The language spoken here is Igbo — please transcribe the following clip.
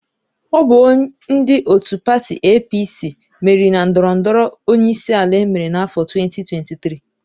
Ọ bụ ndị òtù pati EePiiSii meriri na ndọrọ ndọrọ onyeisiala emere n'áfọ 2023.